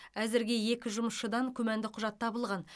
әзірге екі жұмысшыдан күмәнді құжат табылған